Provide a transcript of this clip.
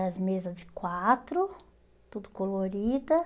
As mesas de quatro, tudo colorida.